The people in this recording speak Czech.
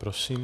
Prosím.